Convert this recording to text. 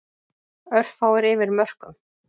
Örfáir yfir mörkum